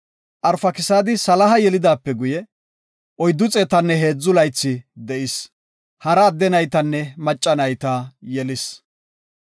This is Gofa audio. Arfakisaadi Saala yelidaape guye, 403 laythi de7is. Hara adde naytanne macca nayta yelis.